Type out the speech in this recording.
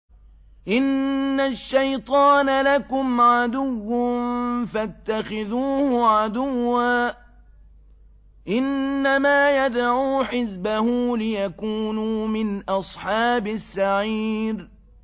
إِنَّ الشَّيْطَانَ لَكُمْ عَدُوٌّ فَاتَّخِذُوهُ عَدُوًّا ۚ إِنَّمَا يَدْعُو حِزْبَهُ لِيَكُونُوا مِنْ أَصْحَابِ السَّعِيرِ